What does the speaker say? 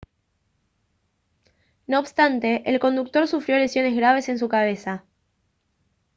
no obstante el conductor sufrió lesiones graves en su cabeza